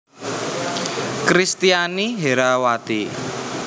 Kristiani Herrawati